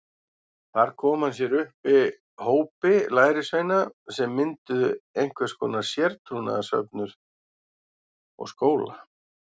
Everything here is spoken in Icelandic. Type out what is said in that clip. Þar kom hann sér upp hópi lærisveina sem mynduðu einhvers konar sértrúarsöfnuð og skóla.